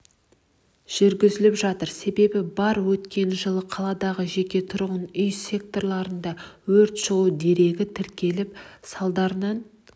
жүргізіліп жатыр себеп бар өткен жылы қаладағы жеке-тұрғын үй секторларында өрт шығу дерегі тіркеліп салдарынан